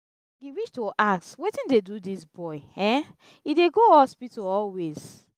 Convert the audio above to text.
e reach to ask wetin dey do dis boy? um e dey go hospital always.